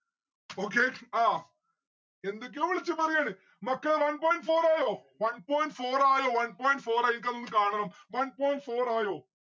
okay ആ എന്തൊക്കെയോ വിളിച്ച് പറയാണ് മക്കളെ one point four ആയോ one point four ആയോ one point four ആയിട്ട് നമ്മുക്ക് കാണണം. one point four ആയോ?